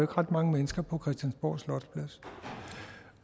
ret mange mennesker på christiansborg slotsplads